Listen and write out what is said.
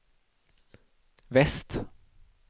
väst